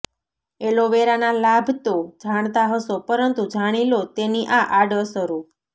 એલોવેરાના લાભ તો જાણતા હશો પરંતુ જાણી લો તેની આ આડઅસરો